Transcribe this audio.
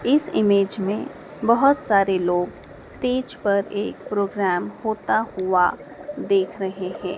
इस ईमेज में बहोत सारे लोग स्टेज पर एक प्रोग्राम होता हुआ देख रहे है।